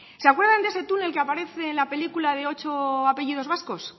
se acuerdan de ese túnel que aparece en la película de ocho apellidos vascos